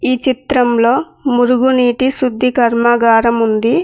ఈ చిత్రంలో మురుగునీటి శుద్ధి కర్మాగారం ఉంది.